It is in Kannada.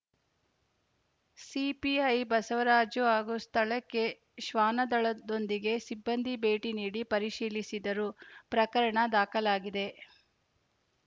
ಸಿಪಿಐ ಬಸವರಾಜ್‌ ಹಾಗೂ ಸ್ಥಳಕ್ಕೆ ಶ್ವಾನದಳದೊಂದಿಗೆ ಸಿಬ್ಬಂದಿ ಭೇಟಿ ನೀಡಿ ಪರಿಶೀಲಿಸಿದರು ಪ್ರಕರಣ ದಾಖಲಾಗಿದೆ